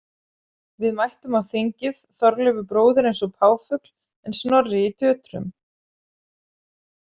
Við mættum á þingið, Þorleifur bróðir eins og páfugl en Snorri í tötrum.